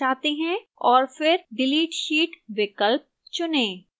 और फिर delete sheet विकल्प चुनें